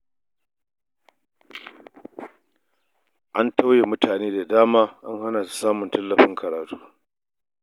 An tauye mutane da dama an hana su samun tallafin karatu